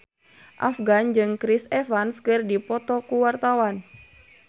Afgan jeung Chris Evans keur dipoto ku wartawan